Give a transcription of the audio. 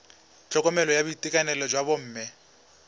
tlhokomelo ya boitekanelo jwa bomme